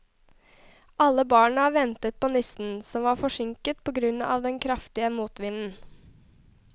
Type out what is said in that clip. Alle barna ventet på julenissen, som var forsinket på grunn av den kraftige motvinden.